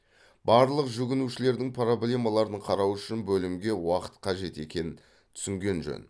барлық жүгінушілердің проблемаларын қарау үшін бөлімге уақыт қажет екен түсінген жөн